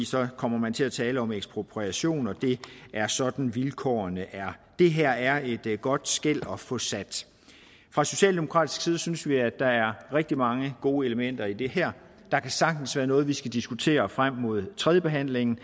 så kommer man til at tale om ekspropriation og det er sådan vilkårene er det her er et godt skel at få sat fra socialdemokratisk side synes vi at der er rigtig mange gode elementer i det her der kan sagtens være noget vi skal diskutere frem mod tredjebehandlingen